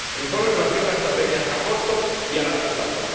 El informe plantea una estrategia a corto y a largo plazo.